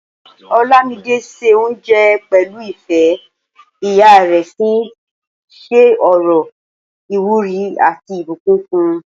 Olámidé se oúnjẹ pẹ̀lú ìfẹ́, ìyá rẹ̀ sì ń ṣe ọ̀rọ̀ ìwúrí àti ìbùkún fún.